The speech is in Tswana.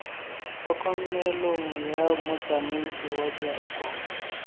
tlhokomelong ya motsamaisi wa direkoto